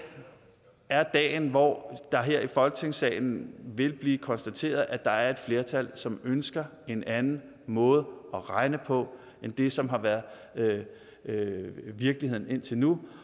er dagen hvor det her i folketingssalen vil blive konstateret at der er et flertal som ønsker en anden måde at regne på end det som har været virkeligheden indtil nu